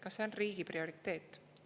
Kas see on riigi prioriteet?